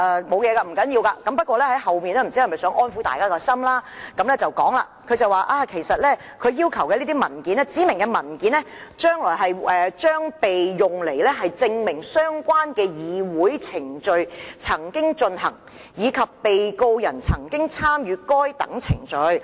這些都不要緊，但律政司在信件較後部分似乎想安撫大家，並提到："指明文件將被用來證明相關的議會程序曾經進行，以及被告人曾經參與該等程序。